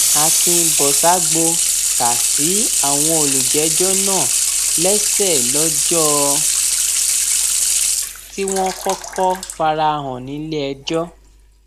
akínbọsàgbo kà sí àwọn olùjẹjọ náà lẹsẹ lọjọ tí wọn kọkọ fara hàn níléẹjọ